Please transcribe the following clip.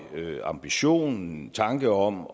ambition en tanke om